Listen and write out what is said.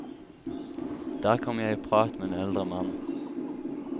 Der kom jeg i prat med en eldre mann.